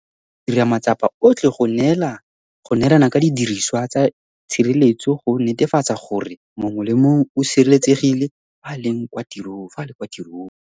Re tla tswelela go dira matsapa otlhe go neelana ka didiriswa tsa itshireletso go netefatsa gore mongwe le mongwe o sireletsegile fa a le kwa tirong.